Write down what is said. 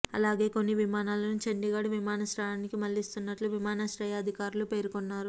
అలాగే కొన్ని విమానాలను చండీఘడ్ విమానాశ్రయానికి మళ్ళిస్తున్నట్లు విమానాశ్రయ అధికారులు పేర్కొన్నారు